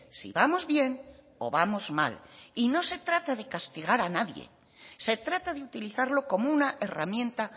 si vamos bien o vamos mal y no se trata de castigar a nadie se trata de utilizarlo como una herramienta